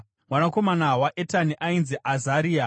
Mwanakomana waEtani ainzi Azaria.